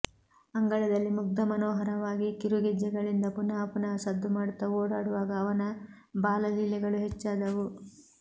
ಅಂಗಳದಲ್ಲಿ ಮುಗ್ಧಮನೋಹರವಾಗಿ ಕಿರುಗಜ್ಜೆಗಳಿಂದ ಪುನಃ ಪುನಃ ಸದ್ದು ಮಾಡುತ್ತ ಓಡಾಡುವಾಗ ಅವನ ಬಾಲಲೀಲೆಗಳು ಹೆಚ್ಚಾದವು